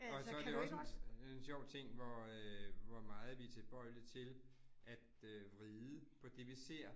Og så det jo også en en sjov ting, hvor øh hvor meget vi tilbøjelige til at øh vride på det, vi ser